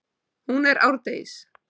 Hún er árdegis.